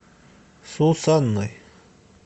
сусанной